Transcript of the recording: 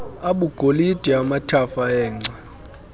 abugolide amathafa engca